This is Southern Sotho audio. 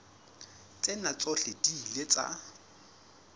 tsena tsohle di ile tsa